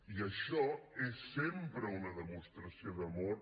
i això és sempre una demostració d’amor